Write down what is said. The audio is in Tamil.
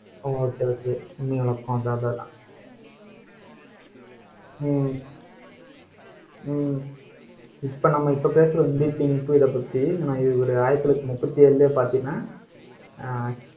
ஹம் சரி சரி உண்மை விளக்கம் ஹம் ஹம் இப்ப நம்ம இப்ப பேசுற இப்ப பத்தி, நான் இவருடைய ஆயிரத்தி தொள்ளாயிரத்தி முப்பத்தி ஏழுலயே பாத்தீங்கன்னா ஹம்